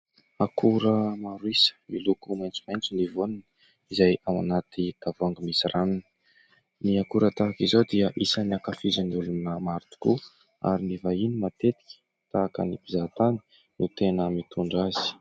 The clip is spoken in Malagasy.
Akora maro isa miloko maitsomaitso ny voaniny izay ao anaty tavoahangy misy ranony. Ny akora tahaka izao dia isany ankafizin'ny olona maro tokoa ary ny vahiny matetika tahaka ny mpizahatany no tena mitondra azy.